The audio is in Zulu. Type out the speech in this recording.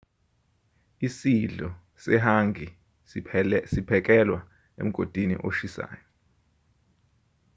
isidlo sehangi siphekelwa emgodini oshisayo